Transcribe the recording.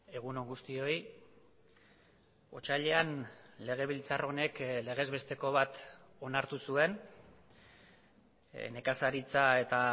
egun on guztioi otsailean legebiltzar honek legez besteko bat onartu zuen nekazaritza eta